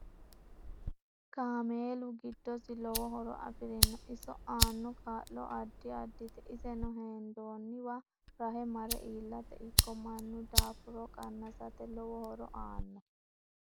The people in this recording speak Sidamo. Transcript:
Kameelu giddosi lowo horo afirinno iso aano kaa'lo addi addite isenno hendooniwa rahe mare iilate ikko mannu daafuro qanasate lowo horo aanno